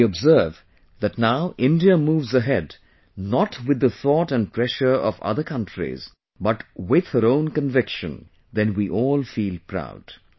When we observe that now India moves ahead not with the thought and pressure of other countries but with her own conviction, then we all feel proud